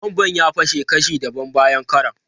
Bomban ya fashe kashi dabam bayan karon.